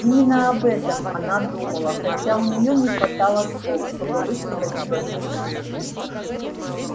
именно об этом она думала хотя у неё не хватало слов чтобы высказать свои мысли